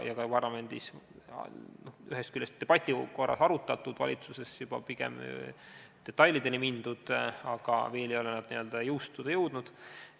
Ka parlamendis on neid debati korras arutatud ja valitsuses juba pigem detailideni mindud, aga nad ei ole veel jõustuda jõudnud.